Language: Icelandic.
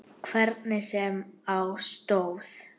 Hvernig sem á stóð.